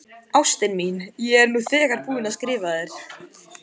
Ástin mín, ég er nú þegar búinn að skrifa þér.